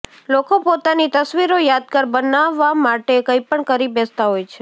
લોકો પોતાની તસ્વીરો યાદગાર બનાવા માટે કંઈપણ કરી બેસતા હોય છે